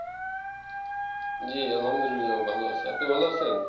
জি আলহামদুলিল্লাহ ভালো আছি আপনি ভালো আছেন?